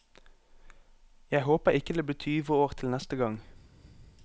Jeg håper ikke det blir tyve år til neste gang.